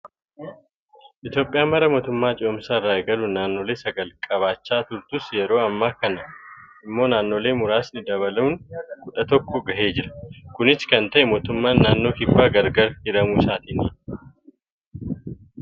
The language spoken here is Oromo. Itoophiyaan bara mootummaa ce'umsaa irraa eegaluun naannoolee sagal qabaachaa turtus yeroo ammaa kana immoo naannooleen muraasni dabaluun kudhan tokko gahee Jira. Kunis kan ta'e, mootummaan naannoo kibbaa gargar hiramuu isaatiini